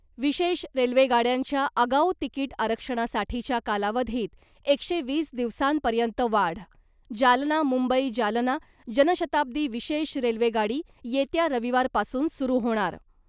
विशेष रेल्वे गाड्यांच्या आगाऊ तिकीट आरक्षणासाठीच्या कालावधीत एकशे वीस दिवसांपर्यंत वाढ जालना मुंबई जालना जनशताब्दी विशेष रेल्वे गाडी येत्या रविवारपासून सुरु होणार .